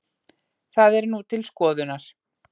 Það er nú til skoðunar